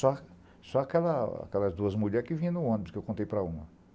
Só só aquela aquelas duas mulheres que vinham no ônibus, que eu contei para uma.